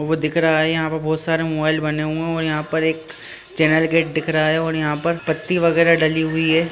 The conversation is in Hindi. वो दिख रहा है यहाँ पर बहोत सारे मोबाइल बने हुए है और यहाँ पर एक चैनल गेट दिखा रहा है और यहाँ पर पत्ती वगैरा डली हुई है।